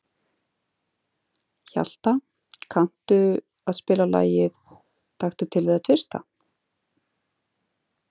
Hjalta, kanntu að spila lagið „Taktu til við að tvista“?